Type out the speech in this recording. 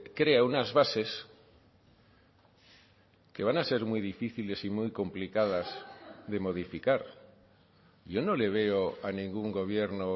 crea unas bases que van a ser muy difíciles y muy complicadas de modificar yo no le veo a ningún gobierno